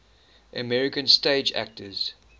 american stage actors